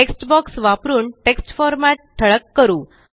text box वापरून text format ठळक करू